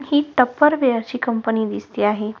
हि Tupperware ची company दिसते आहे.